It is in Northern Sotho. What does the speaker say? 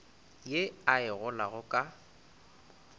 ye a e golago ka